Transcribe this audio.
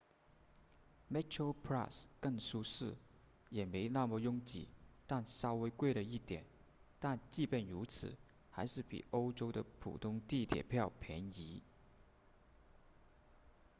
metroplus 更舒适也没那么拥挤但稍微贵了一点即便如此还是比欧洲的普通地铁票便宜